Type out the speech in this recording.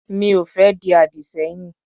Mi ò fẹ́ di àdì sẹ́yìn.